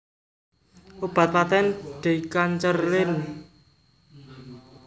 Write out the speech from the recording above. Obat patèn Decancerlin